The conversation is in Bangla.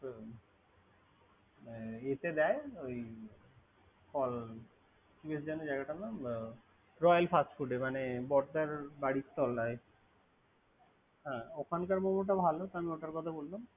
ইয়াতে দেয় ফল। কি যেন জায়গারট নাম royal fast food এ মানে বরদার বাড়ির তল্লায়।